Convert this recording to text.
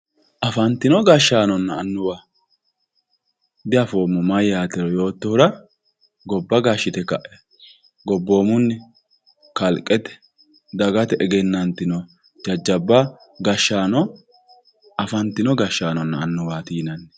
Afantino gashshaanonna annuwa diafoommo mayyaatero yootohura gobba gashshite kae gobboomunni kalqete dagate egennantino gashshaano afantino gashshaanonna annuwaati yinanni.